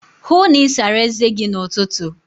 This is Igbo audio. Hụụ na Ị sara eze gi n'ụtụtụ!